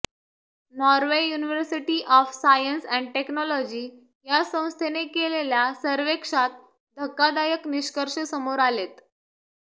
Norway university of science and technology या संस्थेने केलेल्या सर्व्हेक्षात धक्कादायक निष्कर्ष समोर आलेत